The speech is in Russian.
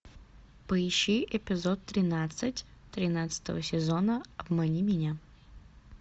поищи эпизод тринадцать тринадцатого сезона обмани меня